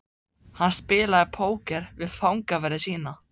Hann spilaði póker við fangaverði sína.